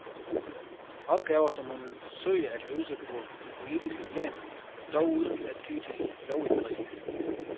Opgaver som hun vil forsøge at løse på det politiske plan, dog uden at ty til lovindgreb.